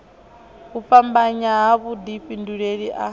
u fhambanya ha vhudifhinduleli a